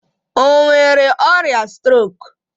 O nwere ọrịa strok?